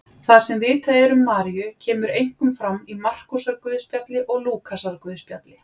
Það sem vitað er um Maríu kemur einkum fram í Markúsarguðspjalli og Lúkasarguðspjalli.